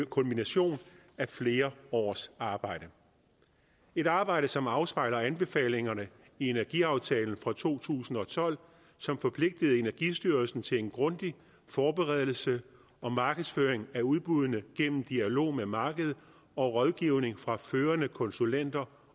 kulmination af flere års arbejde et arbejde som afspejler anbefalingerne i energiaftalen fra to tusind og tolv som forpligtede energistyrelsen til en grundig forberedelse og markedsføring af udbuddene gennem dialog med markedet og rådgivning fra førende konsulenter